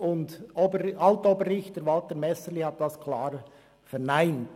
Alt-Oberrichter Walter Messerli hat es klar verneint.